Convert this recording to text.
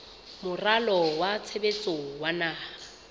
moralo wa tshebetso wa naha